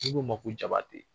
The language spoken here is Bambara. N'i k'u ma ko Jabate